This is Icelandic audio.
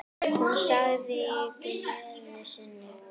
Hún sagði í gleði sinni: